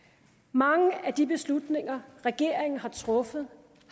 mange af de beslutninger regeringen har truffet